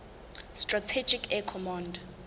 strategic air command